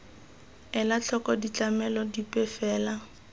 ela tlhoko ditlamelo dipe fela